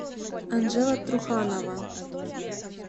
анжела труханова